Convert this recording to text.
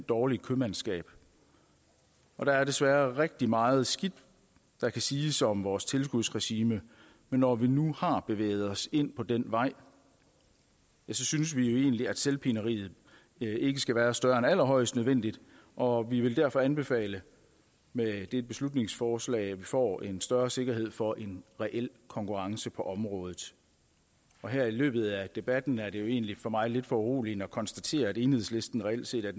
dårligt købmandskab der er desværre rigtig meget skidt der kan siges om vores tilskudsregime men når vi nu har bevæget os ind på den vej synes vi jo egentlig at selvpineriet ikke skal være større end allerhøjst nødvendigt og vi vil derfor anbefale med dette beslutningsforslag får en større sikkerhed for en reel konkurrence på området her i løbet af debatten er det jo egentlig for mig lidt foruroligende at konstatere at enhedslisten reelt set er